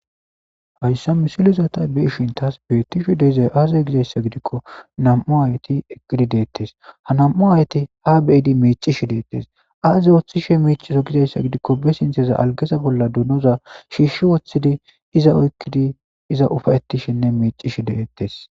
Haysa misilleta ta bei'shin tas betishe dizaysi aze giko, namu'ayeti eqidi dettes,ha namu'ayeti a bei'di micishe detes, azi ootishshe micido gidiko? be sinththan algaza bolla donoza shishi woththidi iza ufayi'tishenne micishe dettes.